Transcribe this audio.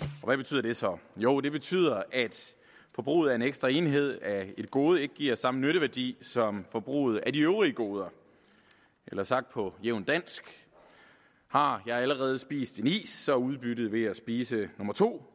og hvad betyder det så jo det betyder at forbruget af en ekstra enhed af et gode ikke giver samme nytteværdi som forbruget af de øvrige goder eller sagt på jævnt dansk har jeg allerede spist én is er udbyttet ved at spise nummer to